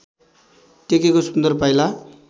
टेकेको सुन्दर पाइला